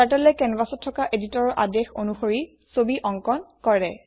Turtleএ কেনভাছত থকা এদিটৰ আদেশ অনুসৰি ছবি অঙ্কণ কৰে